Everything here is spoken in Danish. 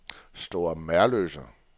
Store Merløse